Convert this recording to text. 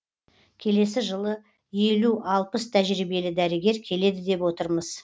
келесі жылы елу алпыс тәжірибелі дәрігер келеді деп отырмыз